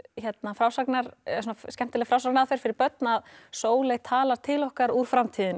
frásagnaraðferð skemmtileg frásagnaraðferð fyrir börn að Sóley talar til okkar úr framtíðinni